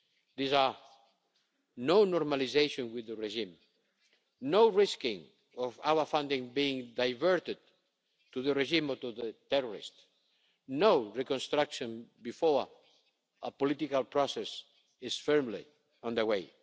lines. These are no normalisation with the regime, no risking of our funding being diverted to the regime or to the terrorists, and no reconstruction before a political process is firmly under